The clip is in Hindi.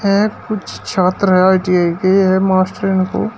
यह कुछ छात्र है आई_टी_आई के ये मास्टर इनको--